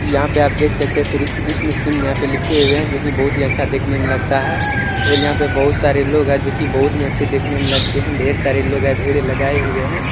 यहाँ पे आप देख सकते हैं श्री कृष्ण सिंह यहाँ लिखे हुए है जो की बहुत ही अच्छा देखने में लगता है और यहाँ पर बहुत सारे लोग हैं जो कि बहुत ही अच्छे दिखने में लगते हैं ढेर सारे लोग हैं भीड़ लगाए हुए हैं।